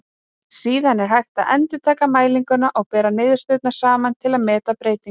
Síðar er hægt að endurtaka mælinguna og bera niðurstöðurnar saman til að meta breytingar.